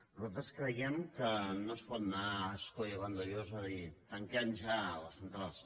nosaltres creiem que no es pot anar a ascó i a vandellòs a dir tanquem ja les centrals